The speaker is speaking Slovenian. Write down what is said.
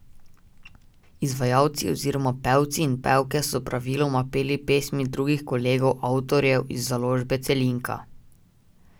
Izvajalci oziroma pevci in pevke so praviloma peli pesmi drugih kolegov avtorjev iz založbe Celinka.